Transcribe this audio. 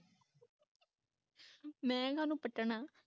ਮੈਂ ਕਾ ਨੂੰ ਪਟਨਾ